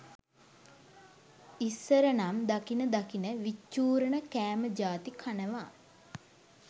ඉස්සරනම් දකින දකින විච්චූරණ කෑම ජාති කනවා